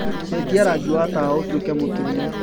cenjĩa rangĩ wa tawa ũtũĩke mũtũne